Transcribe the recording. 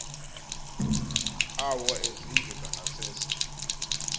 awo ezindlu zangasese